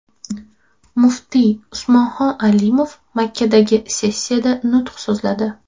Muftiy Usmonxon Alimov Makkadagi sessiyada nutq so‘zladi.